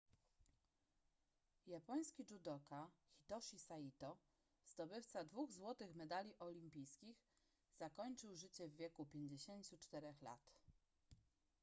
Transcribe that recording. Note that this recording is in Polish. japoński judoka hitoshi saito zdobywca dwóch złotych medali olimpijskich zakończył życie w wieku 54 lat